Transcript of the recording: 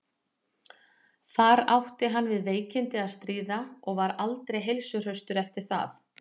þar átti hann við veikindi að stríða og var aldrei heilsuhraustur eftir það